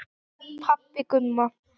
Pabbi Gumma!